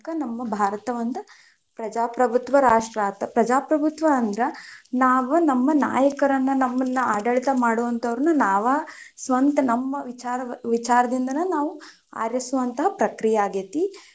ನಮ್ ಭಾರತ ಒಂದ್ ಪ್ರಜಾಪ್ರಬುತ್ವ ರಾಷ್ಟ್ರ ಆತ್, ಪ್ರಜಾಪ್ರಬುತ್ವ ಅಂದ್ರ ನಾವ್ ನಮ್ಮ ನಾಯಕರನ್ನ ನಮ್ಮುನ್ನ ಆಡಳಿತ ಮಾಡುವಂತವರನ್ನ ನಾವ ಸ್ವಂತ ನಮ್ಮ ವಿಚಾರ ವಿಚಾರದಿಂದನ ನಾವು ಆರಿಸುವಂತಹ ಪ್ರಕ್ರಿಯೆ ಆಗೇತಿ.